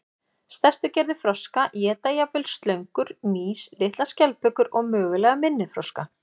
Stærstu gerðir froska éta jafnvel slöngur, mýs, litlar skjaldbökur og mögulega minni froska.